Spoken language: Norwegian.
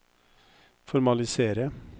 formalisere